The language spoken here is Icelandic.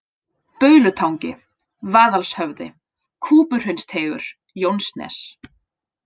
Baulutangi, Vaðalshöfði, Kúpuhraunsteigur, Jónsnes